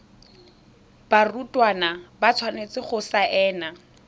barutwana ba tshwanetse go saena